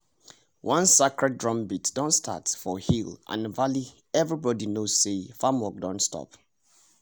once sacred drumbeat start for hill and valley everybody know say farm work don stop